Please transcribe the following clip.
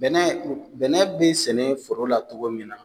Bɛnɛ bɛnɛ bɛ sɛnɛ foro la cogo min na